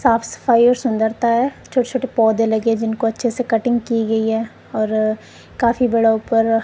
साफ सफाई और सुंदरता है छोटे छोटे पौधे लगे हैं जिनको अच्छे से कटिंग की गई है और काफी बड़ा ऊपर--